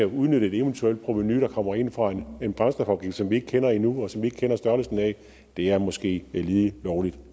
udnytte et eventuelt provenu der kommer ind fra en brændstofafgift som vi ikke kender endnu og som vi ikke kender størrelsen af er måske lige lovlig